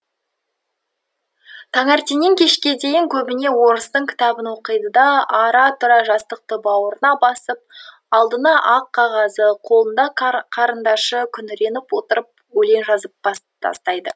таңертеңнен кешке дейін көбінесе орыстың кітабын оқиды да ара тұра жастықты бауырына басып алдында ақ қағазы қолында қарындашы күңіреніп отырып өлең жазып тастайды